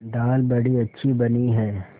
दाल बड़ी अच्छी बनी है